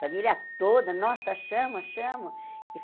Família toda, nossa, chamam, chamam.